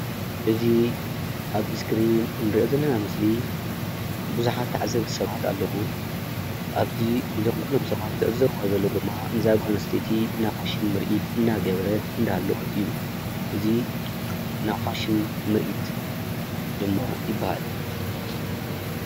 እዚ ኣብ እስክሪን ንርኦ ዘለና ምስሊ ብዙሓት ታዓዘብቲ ሰባት ኣለው ኣብዚ ኩላቶም ሰባት ዝዕዘብዎ ዘለዎ ነዛ ጓል ኣንስተይቲ ናይ ፋሽን ምሪኢት እንዳገበረት እንዳሃለወት እዚ ድማ ናይ ፋሽን ምሪኢት ይባሃል።